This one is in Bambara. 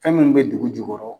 Fɛn munnu bɛ dugu jukɔrɔ.